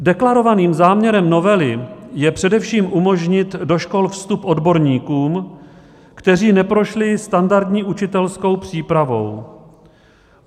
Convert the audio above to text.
Deklarovaným záměrem novely je především umožnit do škol vstup odborníkům, kteří neprošli standardní učitelskou přípravou.